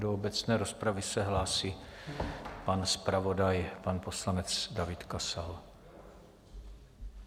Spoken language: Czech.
Do obecné rozpravy se hlásí pan zpravodaj, pan poslanec David Kasal.